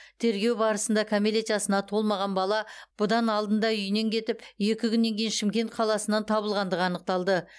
тергеу барысында кәмелет жасына толмаған бала бұдан алдында үйінен кетіп екі күннен кейін шымкент қаласынан табылғандығы анықталды